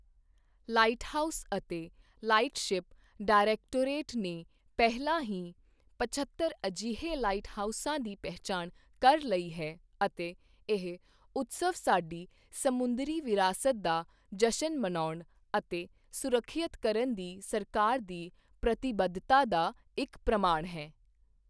Lighthouse ਅਤੇ lightship directorate ਨੇ ਪਹਿਲਾਂ ਹੀ ਪਝੱਤਰ ਅਜਿਹੇ ਲਾਈਟਹਾਊਸਾਂ ਦੀ ਪਹਿਚਾਣ ਕਰ ਲਈ ਹੈ ਅਤੇ ਇਹ ਉਤਸਵ ਸਾਡੀ ਸਮੁੰਦਰੀ ਵਿਰਾਸਤ ਦਾ ਜਸ਼ਨ ਮਨਾਉਣ ਅਤੇ ਸੁਰੱਖਿਅਤ ਕਰਨ ਦੀ ਸਰਕਾਰ ਦੀ ਪ੍ਰਤੀਬੱਧਤਾ ਦਾ ਇੱਕ ਪ੍ਰਮਾਣ ਹੈ।